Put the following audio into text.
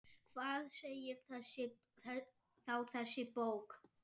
Hvað segir þá þessi bók?